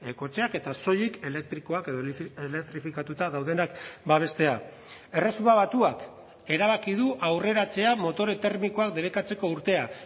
kotxeak eta soilik elektrikoak edo elektrifikatuta daudenak babestea erresuma batuak erabaki du aurreratzea motore termikoak debekatzeko urtea